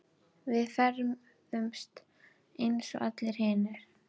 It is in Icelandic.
Við ferðumst eins og allir hinir.